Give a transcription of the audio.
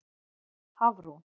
Hafrún